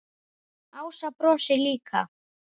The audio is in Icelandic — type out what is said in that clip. Ása brosir líka.